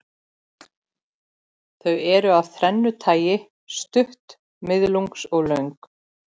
Þau eru af þrennu tagi, stutt, miðlungs og löng.